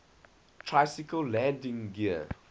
tricycle landing gear